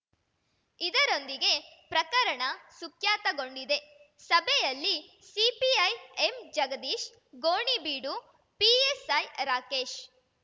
ಇದರೊಂದಿಗೆ ಪ್ರಕರಣ ಸುಖ್ಯಾತಗೊಂಡಿದೆ ಸಭೆಯಲ್ಲಿ ಸಿಪಿಐ ಎಂಜಗದೀಶ್‌ ಗೋಣಿಬೀಡು ಪಿಎಸ್‌ಐ ರಾಕೇಶ್‌